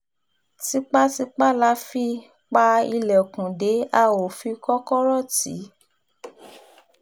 tipàtìpá la fi pa ilẹ̀kùn dé a ó fi kọ́kọ́rọ́ tì í